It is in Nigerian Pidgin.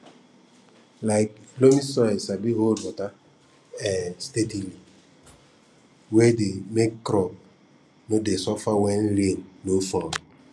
um loamy soil sabi hold water um steadily way dey make crops no dey suffer when rain no fall